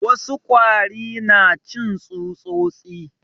Wasu kwari na cin tsutsosi